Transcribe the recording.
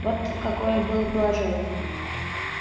вот та какое было положение